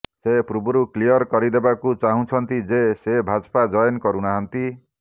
ସେ ପୂର୍ବରୁ କ୍ଲିୟର କରିଦେବାକୁ ଚାହୁଁଛନ୍ତି ଯେ ସେ ଭାଜପା ଜଏନ୍ କରୁନାହାନ୍ତି